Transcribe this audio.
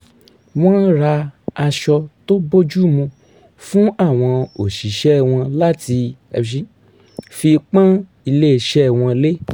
wọ́n ra aṣọ tó bójúmu fún àwọn òṣìṣẹ́ wọn láti fi pó̩n ilés̩e̩ wo̩n lé